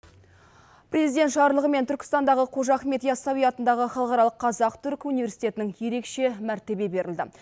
президент жарлығымен түркістандағы қожа ахмет ясауи атындағы халықаралық қазақ түрік университетінің ерекше мәртебе берілді